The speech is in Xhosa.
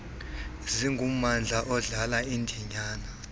singummandla odlala indinyana